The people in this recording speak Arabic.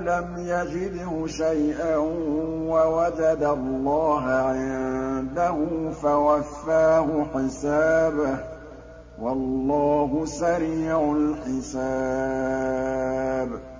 لَمْ يَجِدْهُ شَيْئًا وَوَجَدَ اللَّهَ عِندَهُ فَوَفَّاهُ حِسَابَهُ ۗ وَاللَّهُ سَرِيعُ الْحِسَابِ